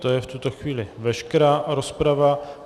To je v tuto chvíli veškerá rozprava.